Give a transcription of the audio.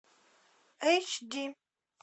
эйч ди